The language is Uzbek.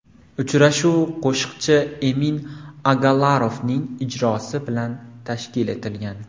Uchrashuv qo‘shiqchi Emin Agalarovning iltimosi bilan tashkil etilgan.